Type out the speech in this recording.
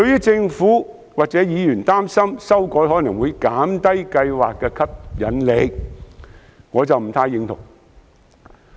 政府及部分議員擔心，這樣修改可能會減低計劃的吸引力，我對此不太認同。